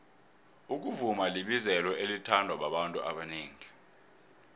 ukuvuma libizelo elithandwa babantu abanengi